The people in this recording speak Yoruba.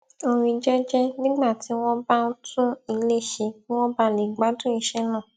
orin jẹjẹ nígbà tí wón bá ń tún ilé ṣe kí wọn bàa lè gbádùn iṣẹ náà